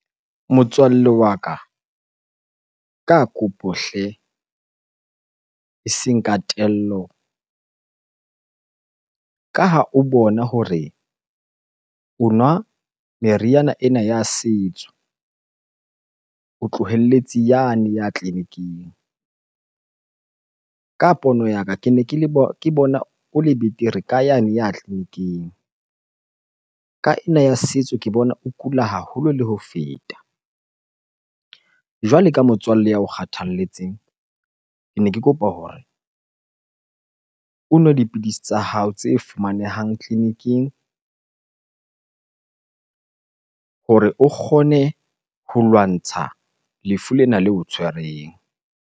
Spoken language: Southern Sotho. Motswalle wa ka, ka kopo hle eseng ka tello. Ka ha o bona hore o nwa meriana ena ya setso, o tlohelletse yane ya tleliniking. Ka pono ya ka kene ke le ke bona o le betere ka yane ya tleliniking, ka ena ya setso ke bona o kula haholo le ho feta. Jwale ka motswalle ya o kgathalletseng, kene ke kopa hore o nwe dipidisi tsa hao tse fumanehang tleliniking hore o kgone ho lwantsha lefu lena leo o tshwereng.